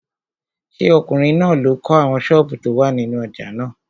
Ṣé ọkùnrin náà ló kọ́ àwọn sọ́ọ̀bù tó wà nínú ojà náà?